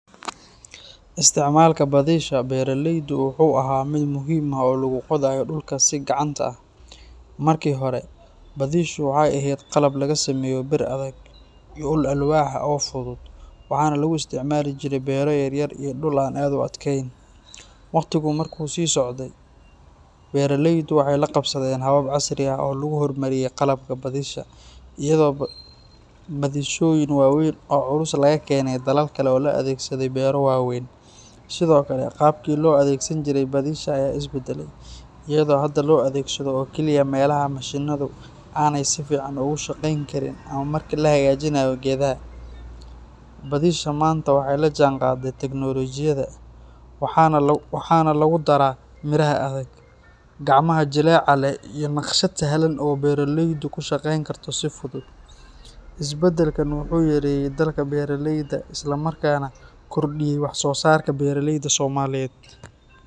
isticmaalka badisha beeraleydu wuxuu ahaa mid muhiim ah oo lagu qodayo dhulka si gacanta ah. Markii hore, badishu waxay ahayd qalab laga sameeyo bir adag iyo ul alwaax ah oo fudud, waxaana lagu isticmaali jiray beero yaryar iyo dhul aan aad u adkeyn. Wakhtigu markuu sii socday, beeraleydu waxay la qabsadeen habab casri ah oo lagu horumariyay qalabka badisha, iyadoo badishooyin waaweyn oo culus laga keenay dalal kale loo adeegsaday beero waaweyn. Sidoo kale, qaabkii loo adeegsan jiray badisha ayaa is beddelay, iyadoo hadda loo adeegsado oo keliya meelaha mashiinnadu aanay si fiican uga shaqeyn karin ama marka la hagaajinayo geedaha. Badisha maanta waxay la jaanqaadday tiknoolajiyadda, waxaana lagu daraa biraha adag, gacmaha jileeca leh iyo naqshad sahlan oo beeraleydu ku shaqeyn karto si fudud. Isbeddelkan wuxuu yareeyay daalka beeraleyda isla markaana kordhiyay wax-soosaarka beeraleyda Soomaaliyeed.